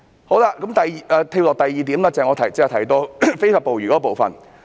我現在跳到下一個要點，即我剛才提到非法捕魚的部分。